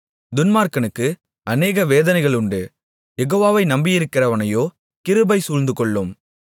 துன்மார்க்கனுக்கு அநேக வேதனைகளுண்டு யெகோவாவை நம்பியிருக்கிறவனையோ கிருபை சூழ்ந்து கொள்ளும்